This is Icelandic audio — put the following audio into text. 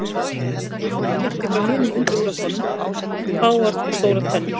Það sem greinir háketti frá hinum undirflokkunum eru fáar og stórar tennur.